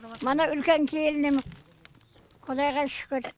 мана үлкен келінім құдайға шүкір